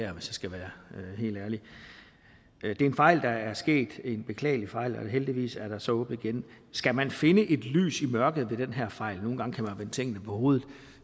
jeg skal være helt ærlig det er en fejl der er sket en beklagelig fejl og heldigvis er der så åbnet igen skal man finde et lys i mørket ved den her fejl nogle gange kan man vende tingene på hovedet